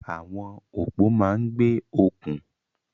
Àwọn òpó máa ń gbé okùn.